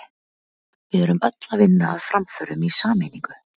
Við erum öll að vinna að framförum í sameiningu.